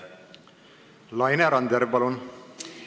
Laine Randjärv, palun!